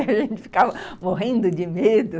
A gente ficava morrendo de medo.